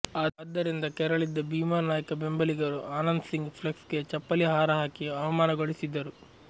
ಅದರಿಂದ ಕೆರಳಿದ್ದ ಭೀಮಾ ನಾಯ್ಕ ಬೆಂಬಲಿಗರು ಆನಂದ್ ಸಿಂಗ್ ಫ್ಲೆಕ್ಸ್ಗೆ ಚಪ್ಪಲಿ ಹಾರ ಹಾಕಿ ಅವಮಾನಗೊಳಿಸಿದ್ದರು